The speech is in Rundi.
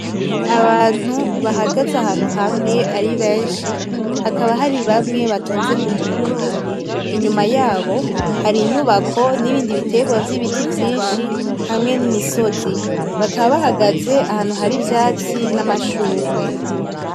Abantu bahagaze ahantu hamwe aribenshi hakaba haribamwe batonze kumurongo. Inyuma yabo hari inyubako n'ibindi bitegwa vyibiti vyinshi hamwe n'imisozi ,bakaba bahagaze ahantu hari ivyatsi namashugwe.